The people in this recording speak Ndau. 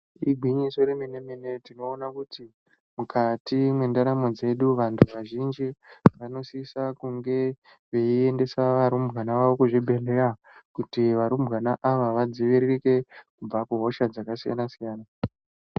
Igwinyiso remene mene tinoona kuti mukati mwendaramo dzedu vantu vazhinji vanosisa kunge veiyendesa varumbwana kuzvibhehleya kuti varumbwana ava vadziviririke kubva kuhosha dzakasiyana siyana .